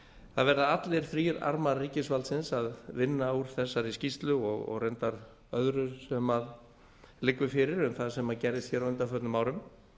það verða allir þrír armar ríkisvaldsins að vinna úr þessari skýrslu og reyndar öðru sem liggur fyrir um það sem gerðist á undanförnum árum